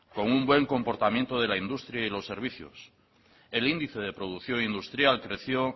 con un buen comportamiento de la industria y los servicios el índice de producción industrial creció